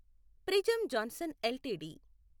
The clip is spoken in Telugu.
prism Johnson LTD